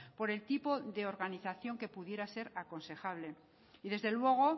por el tipo de organización que pudiera ser aconsejable y desde luego